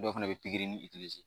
Dɔw fana bɛ pikiri ni